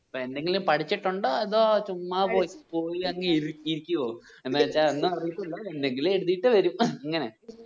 അപ്പോ എന്തെങ്കിലും പഠിച്ചിട്ടുണ്ടോ അതോ ചുമ്മാ പോയി പോയ്അങ്ങ് ഇരികുവോ എന്നുവെച്ച ഒന്നും അറിയത്തില്ല എന്തെക്കിലും എഴുതിയിട്ട് വരും അങ്ങനെ